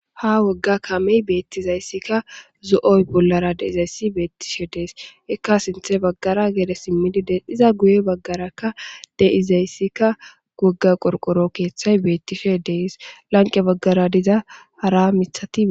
Ha wogga kamey beettizayssikka zo'oy bollara deizayssi beettishe dees ekka sinthe baggara gere simmidi des iza guye baggarakka deizayssikka gogga qorqoro keeththay beettishe dees lanqe baggara diza hara mithati